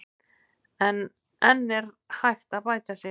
En er enn hægt að bæta sig?